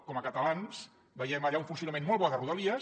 com a catalans veiem allà un funcionament molt bo de rodalies